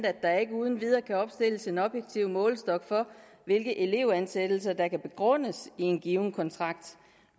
at der ikke uden videre kan opstilles en objektiv målestok for hvilke elevansættelser der kan begrundes i en given kontrakt